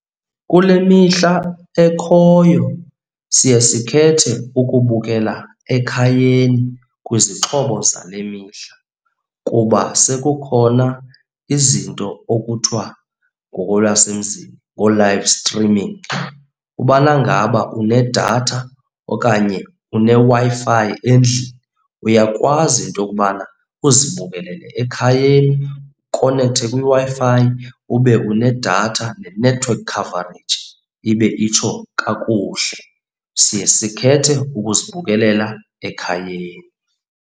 Kule mihla ekhoyo siye sikhethe ukubukela ekhayeni kwizixhobo zale mihla kuba sekukhona izinto okuthiwa ngokolwasemzini ngoo-livestreaming. Ubana ngaba unedatha okanye uneWi-Fi endlini uyakwazi into yokubana uzibukelela ekhayeni, ukonekthe kwiWi-Fi, ube unedatha ne-network coverage ibe itsho kakuhle. Siye sikhethe uzibukelela ekhayeni.